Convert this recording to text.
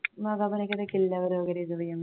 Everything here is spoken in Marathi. मग आपण एखाद्या किल्ल्यावर वगैरे जाऊया